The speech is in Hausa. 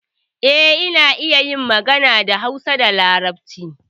Eh, ina iya yin magana da Hausa da Larabci.